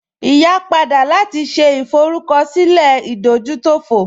Ìyá padà láti ṣe ìforúkọsílẹ̀ ìdójútòfò